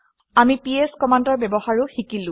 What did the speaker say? আমি পিএছ কমাণ্ডৰ ব্যৱহাৰো শিকিলো